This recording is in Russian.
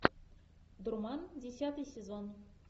дурман десятый сезон